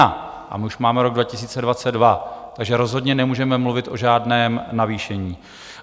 A my už máme rok 2022, takže rozhodně nemůžeme mluvit o žádném navýšení.